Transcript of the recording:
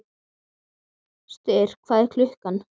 Styrr, hvað er klukkan?